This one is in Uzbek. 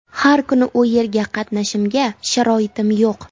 Har kuni u yerga qatnashimga sharoitim yo‘q.